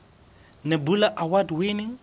nebula award winning